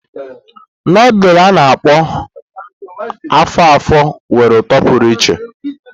Nudulu a-na akpo afo-afo nwere uto pụrụ iche.